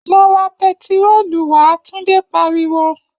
Lọ ra pẹtiróòlù wá!, Tunde pariwo